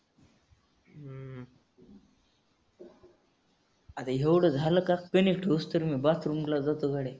आता एवढं झालं का ठेऊस्तर मी bathroom ला जातो गडे.